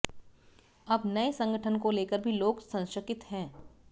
अब नए संगठन को लेकर भी लोग सशंकित हैं